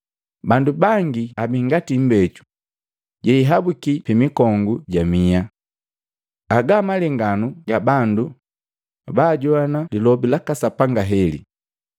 Bandu bangi abii ngati imbeju yeihabuki pimikongu jamiha. Agaa malenganu ga bandu baajoana lilobi laka Sapanga heli,